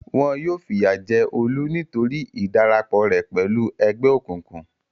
Wọn yóò fìyà jẹ Olú nítorí ìdarapọ̀ rẹ̀ pẹ̀lú ẹgbẹ́ òkùnkùn.